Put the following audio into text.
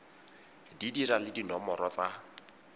di dira le dinomoro tsa